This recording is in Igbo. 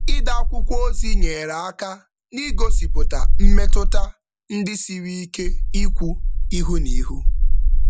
Ide akwụkwọ ozi nyeere aka n'igosipụta mmetụta ndị siri ike ikwu ihu n'ihu.